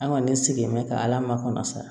An kɔni sigilen bɛ ka ala makɔnɔ sa